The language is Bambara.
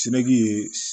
Seki ye